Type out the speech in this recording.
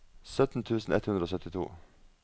sytten tusen ett hundre og syttito